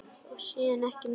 Og síðan ekki meir?